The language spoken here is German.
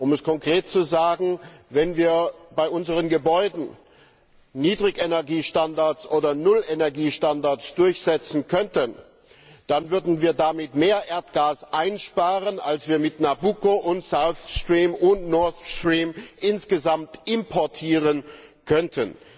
Um es konkret zu sagen Wenn wir bei unseren Gebäuden Niedrigenergiestandards oder Nullenergiestandards durchsetzen könnten, dann würden wir damit mehr Erdgas einsparen, als wir mit Nabucco und South Stream und Nord Stream insgesamt importieren könnten.